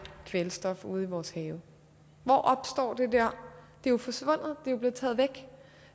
kvælstof ude i vores have hvor opstår det det er jo forsvundet det er blevet taget væk